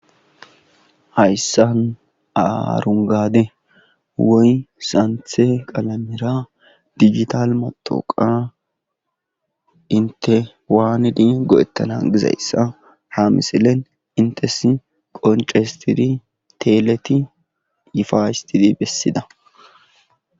hayssan aarungade woy santhe qalamira digital motoqa inte waanidi go7ettana gizayssa ha misilen intesi qonce histidi teeleti yifaistidi bessida